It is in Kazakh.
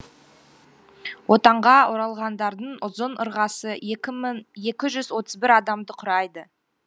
отанға оралғандардың ұзын ырғасы екі жүз отыз бір адамды құрайды